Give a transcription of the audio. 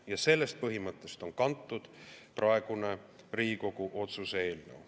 Ja sellest põhimõttest on kantud praegune Riigikogu otsuse eelnõu.